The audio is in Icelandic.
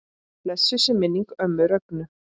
Blessuð sé minning ömmu Rögnu.